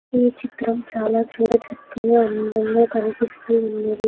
ఈ చిత్రం చాలా చూడ చక్కగా అందంగా కనిపిస్తూ ఉన్నది.